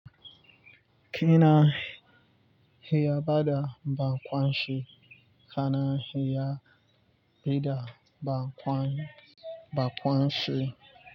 Kina hiya bada bakwanshi kana hiya bida bakwanshi.